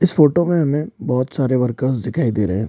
इस फोटो में हमें बहोत सारे वर्कर्स दिखाई दे रहे हैं।